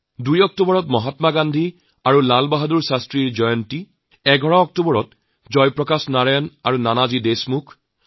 ২ October Mahatma Gandhi আৰু লাল বাহাদুৰ শাস্ত্ৰীৰ জন্মদিন ১১ অক্টোবৰ জয়প্ৰকাশ নাৰায়ণ আৰু নানাজী দেশমুখৰ জন্মদিন